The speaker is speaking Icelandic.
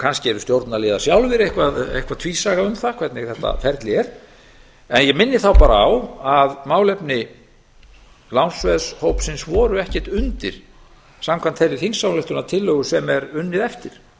kannski eru stjórnarliðar sjálfir eitthvað tvísaga um það hvernig þetta ferli er ég minni bara á að málefni lánsveðshópsins voru ekkert undir samkvæmt þeirri þingsályktunartillögu sem er unnið eftir